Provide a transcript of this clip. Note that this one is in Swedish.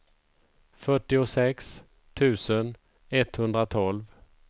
fyrtiosex tusen etthundratolv